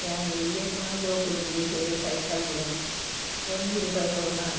ಯಾನ್ ಎಲ್ಯ ಉಪ್ಪುನಗ ಜೋಕುಲ್ನೊಟ್ಟು ಸೇರ್ದ್ ಸೈಕಲ್ ಬುಡೊಂದು ಇತ್ತೆ ಒಂಜಿ ರೂಪಾಯಿ ಕೊಂರ್ಡ ಆಂಡ್.